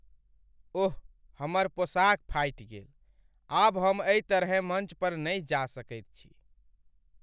ओह हमर पोशाक फाटि गेल। आब हम एहि तरहेँ मञ्च पर नहि जा सकैत छी।